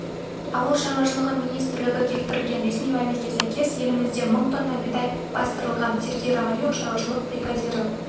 ауыл шаруашылығы министрлігі келтірген ресми мәліметке сәйкес елімізде мың тонна бидай бастырылған сергей романюк шаруашылық бригадирі